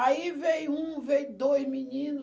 Aí veio um, veio dois menino.